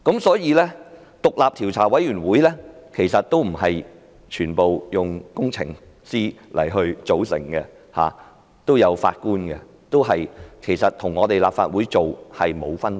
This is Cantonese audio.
所以，獨立調查委員會也不是全部由工程師組成，成員也包括法官，跟立法會的做法沒有分別。